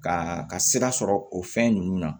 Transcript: Ka ka sira sɔrɔ o fɛn ninnu na